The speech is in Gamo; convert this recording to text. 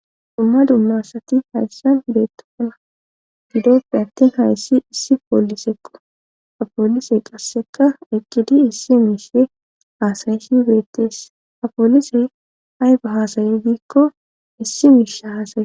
Dumma dumma asati hayssan beettofana gidoppe attin hayssi issi poolisekqo apoolisey qasseka eqqidi issi miishe haasayishi beettees apoolisey ayfa hasay diikko issi miishe haasaye.